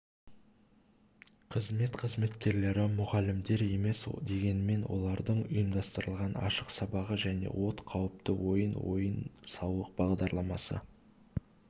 қызмет қызметкерлері мұғалімдер емес дегенмен олардың ұйымдастырған ашық сабағы және от қауіпті ойын ойын-сауық бағдарламасы